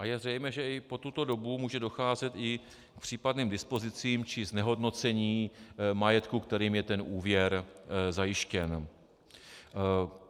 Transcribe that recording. A je zřejmé, že i po tuto dobu může docházet i k případným dispozicím či znehodnocení majetku, kterým je ten úvěr zajištěn.